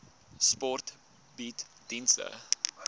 sport bied dienste